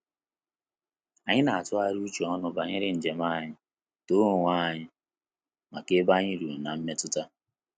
Anyị na atughari uche onu banyere njem anyị, too onwe anyị maka ebe anyị ruru na mmetuta